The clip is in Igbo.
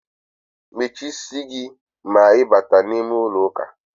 Mechie isi gi ma I bata n'ime ulo uka!